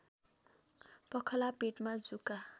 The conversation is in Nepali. पखाला पेटमा जुका